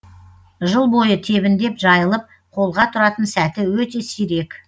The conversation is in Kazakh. жыл бойы тебіндеп жайылып қолға тұратын сәті өте сирек